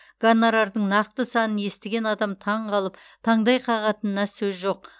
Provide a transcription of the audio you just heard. гонорардың нақты санын естіген адам таңқалып таңдай қағатынына сөз жоқ